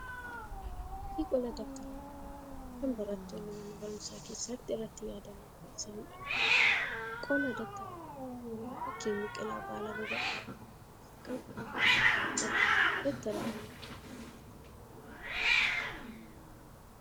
Fakkii qola dabtara yaadannoo kan barattoonni mana barumsaa keessatti irratti yaadannoo barreessaniidha. Qola dabtara kanaa irratti fakkiin biqilaa baala babal'aa halluu magariisa qabu boocamee jira. Dabtara kana irraa asxaan danaa geengoo illee argamaa jira.